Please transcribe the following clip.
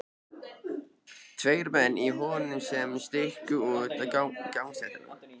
Tveir menn í honum sem stukku út á gangstéttina.